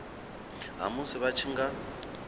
ha musi vha tshi nga